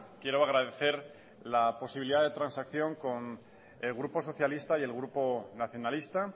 quiero agradecer la posibilidad de transacción con el grupo socialista y el grupo nacionalista